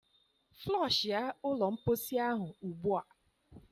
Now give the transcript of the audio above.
Floshia ụlọ mposi ahụ ugbu a!